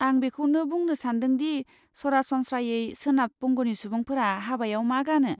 आं बेखौनो बुंनो सान्दों दि, सरासनस्रायै सोनाब बंगनि सुबुंफोरा हाबायाव मा गानो?